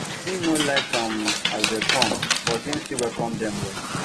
im no like um as dem come but him still welcome dem well